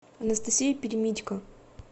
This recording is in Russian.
анастасия перемитько